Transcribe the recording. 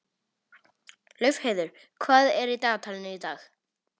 Laufheiður, hvað er í dagatalinu í dag?